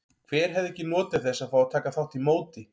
Hver hefði ekki notið þess að fá að taka þátt í móti?